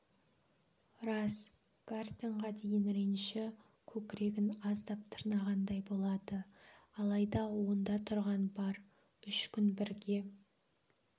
рас гартенға деген реніші көкірегін аздап тырнағандай болады алайда онда тұрған бар үш күн бірге